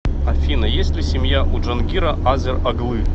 афина есть ли семья у джангира азер оглы